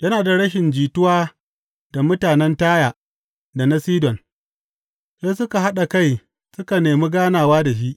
Yana da rashin jituwa da mutanen Taya da na Sidon; sai suka haɗa kai suka nemi ganawa da shi.